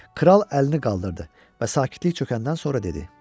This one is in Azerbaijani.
Kral əlini qaldırdı və sakitlik çökəndən sonra dedi: